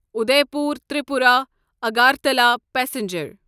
Udaipur Tripura Agartala passenger